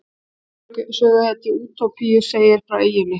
Aðalsöguhetja Útópíu segir frá eyjunni.